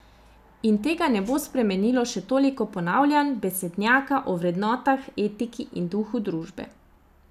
In tega ne bo spremenilo še toliko ponavljanj besednjaka o vrednotah, etiki in duhu družbe.